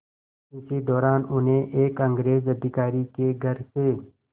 इसी दौरान उन्हें एक अंग्रेज़ अधिकारी के घर से